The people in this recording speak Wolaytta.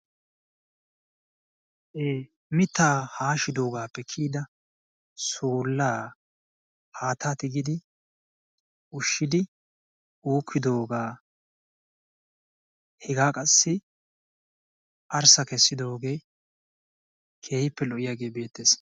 mitaa haashidoogappe kiyida suulaa haata tigidi ushidi uukkidoogaa hegaa qassi arssa kessidooge keehippe lo'iyage beetees.